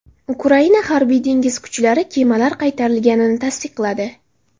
Ukraina harbiy-dengiz kuchlari kemalar qaytarilganini tasdiqladi.